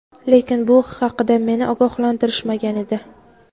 Lekin, bu haqda meni ogohlantirishmagan edi..